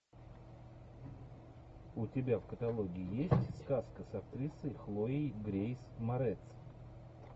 у тебя в каталоге есть сказка с актрисой хлоей грейс морец